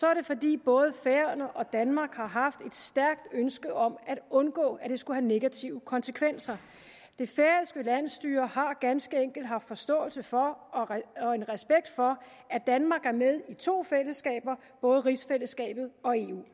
er det fordi både færøerne og danmark har haft et stærkt ønske om at undgå at det skulle have negative konsekvenser det færøske landsstyre har ganske enkelt haft forståelse for og respekt for at danmark er med i to fællesskaber både rigsfællesskabet og eu